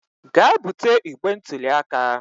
Gaa bute igbe ntụli aka